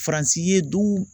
Faransi ye duw